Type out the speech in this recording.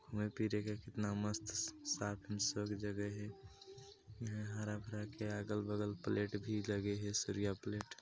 मई फिरे ग कितना साफ एंड जगह हैयहाँ हरा भरा के अगल बगल प्लेट भी लगी हैं सरिए प्लेट--